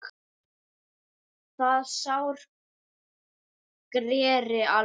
Það sár greri aldrei.